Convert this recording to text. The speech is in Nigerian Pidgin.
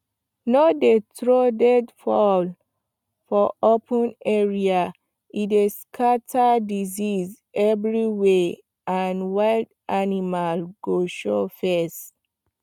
no dey throw dead fowl for open area e dey scatter disease everywhere and wild animal go show face